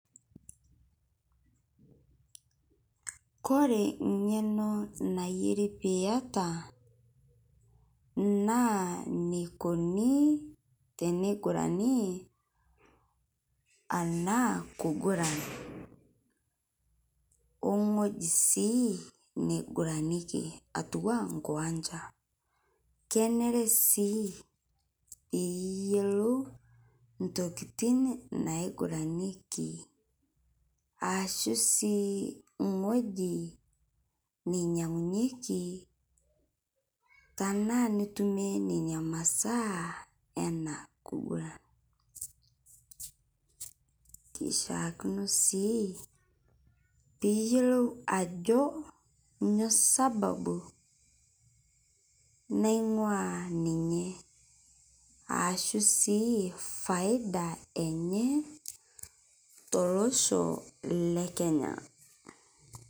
Kore ng'eno nayeri piyata naa neikoni teneigurani ana kuguran ong'oji sii neiguraneki atuwaa nkuwanja, kenere sii piyelou ntokitin naiguraneki aashu sii ng'oji nainyang'unyeki tanaa nitumie nenia masaa ena kuguran. Keishaakino sii piiyelou ajo nyo sababu, naing'ua ninye aashu sii faida enye tolosho lekenya